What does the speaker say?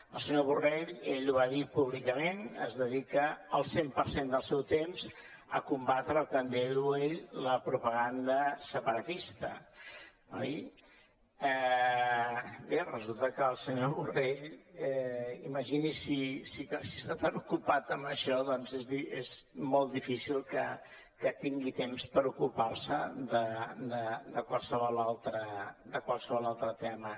el senyor borrell ell ho va dir públicament dedica el cent per cent del seu temps a combatre el que en diu ell la propaganda separatista oi bé resulta que el senyor borrell imagini’s si està tan ocupat amb això és molt difícil que tingui temps per ocupar se de qualsevol altre tema